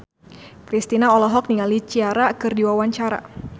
Kristina olohok ningali Ciara keur diwawancara